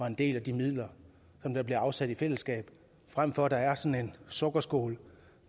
en del af de midler der bliver afsat i fællesskab frem for at der er sådan sukkerskål